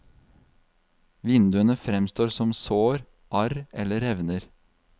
Vinduene fremstår som sår, arr eller revner.